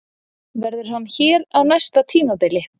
Verður hann hér á næsta tímabili?